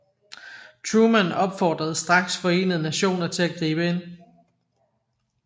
Truman opfordrede straks Forenede Nationer til at gribe ind